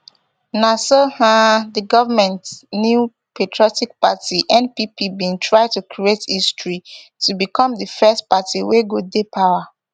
na so um di goment new patriotic party npp bin try to create history to become di first party wey go dey power